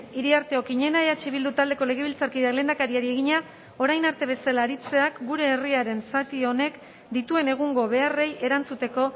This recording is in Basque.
iriarte okiñena eh bildu taldeko legebiltzarkideak lehendakariari egina orain arte bezala aritzeak gure herriaren zati honek dituen egungo beharrei erantzuteko